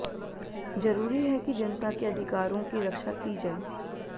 जरूरी है कि जनता के अधिकारों की रक्षा की जाये